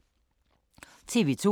TV 2